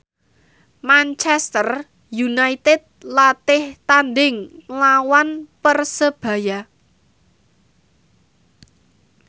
Manchester united latih tandhing nglawan Persebaya